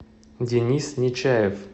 денис нечаев